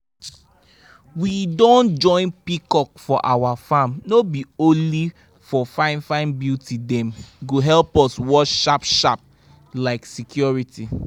we don join peacock for our farm no be only for fine-fine beauty dem go help us watch sharp-sharp like security.